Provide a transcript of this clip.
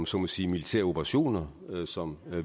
så må sige militære operationer som